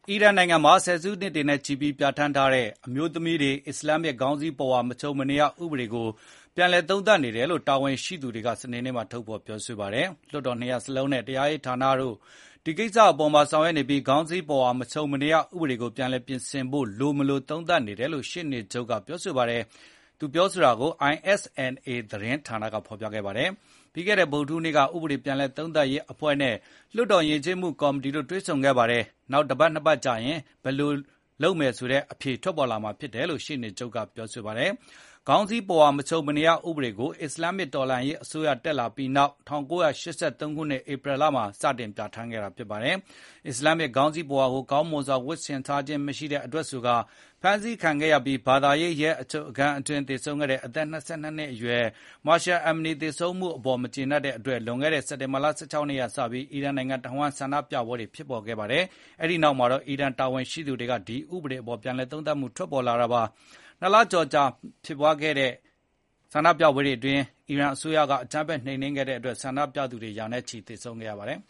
အီရန်နိုင်ငံမှာ ဆယ်စုနှစ်တွေနဲ့ချီပြီး ပြဌာန်းထားတဲ့ အမျိုးသမီးတွေ အစ္စလမ်းမစ် ခေါင်းစည်းပဝါ မခြုံမနေရဥပဒေကို ပြန်လည်သုံးသပ်နေတယ်လို့ တာဝန်ရှိသူတွေက စနေနေ့မှာ ထုတ်ဖေါ်ပြောဆိုပါတယ်။ လွှတ်တော်နှစ်ရပ်စလုံးနဲ့ တရားရေးဌာနတို့ ဒီကိစ္စပေါ်မှာ ဆောင်ရွက်နေပြီး၊ ခေါင်းစည်းပုဝါ မခြုံမနေရဥပဒေကို ပြန်လည်ပြင်ဆင်ဖို့လိုမလို သုံးသပ်နေတယ်လို့ ရှေ့နေချုပ် Mohammad Jafar Montazeri က ပြောတာကို ISNA သတင်းဌာနက ဖေါ်ပြခဲ့ပါတယ်။ ပြီးခဲ့တဲ့ ဗုဒ္ဓဟူးနေ့က ဥပဒေ ပြန်လည်သုံးသပ်ရေးအဖွဲ့နဲ့ လွှတ်တော်ယဉ်ကျေးမှု ကော်မတီတို့တွေ့ဆုံခဲ့ပါတယ်။ နောက်တပတ်၊ နှစ်ပတ်ကြာရင် ဘယ်လို လုပ်မယ်ဆိုတဲ့အဖြေ ထွက်ပေါ်လာမှာပါလို့လည်း ရှေ့နေချုပ်က ပြောဆိုခဲ့ပါတယ်။ ဒီခေါင်းစည်းပုဝါ မခြုံမနေရ ဥပဒေကို အစ္စလမ်းမစ်တော်လှန်ရေးအစိုးရ အာဏာရလာခဲ့ပြီးနောက် ၁၉၈၃ ခုနှစ် ဧပြီလမှာ စတင်ပြဌာန်းခဲ့တာပါ။ အစ္စလမ်မစ်ခေါင်းစည်းပုဝါကို ကောင်းမွန်စွာ ဝတ်ဆင်ထားခြင်း မရှိတဲ့အတွက်ဆိုကာ ဖမ်းဆီးခံခဲ့ရပြီး၊ ဘာသာရေးရဲ အချုပ်ခန်းအတွင်း အသက် ၂၂ နှစ်အရွယ် Mahsa Amani သေဆုံးခဲ့ရတဲ့အပေါ် မကြေနပ်တာကြောင့် လွန်ခဲ့တဲ့ စက်တင်ဘာလ ၁၆ ရက်နေ့ကစပြီး အီရန်နိုင်ငံတဝှမ်း ဆန္ဒပြပွဲတွေ ဖြစ်ပေါ်ခဲ့ပါတယ်။ အဲဒီနောက် အီရန်တာဝန်ရှိသူတွေက ဒီဥပဒေအပေါ် ပြန်လည်သုံးသပ်မှု ထွက်ပေါ်လာတာပါ။ ၂ လကျော်ကြာ ဖြစ်ပွားခဲ့တဲ့ ဆန္ဒပြပွဲတွေအတွင်း အီရန်အစိုးရတပ်ဖွဲ့က အကြမ်းဖက်နှိမ်နင်းခဲ့တဲ့အတွက် ဆန္ဒပြသူ ရာနဲ့ချီ သေဆုံးခဲ့ပါတယ်။